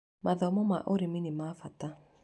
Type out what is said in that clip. Mathomo ma ũrĩmi nĩ ma bata.